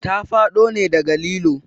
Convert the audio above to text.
Ta faɗo ne daga lilo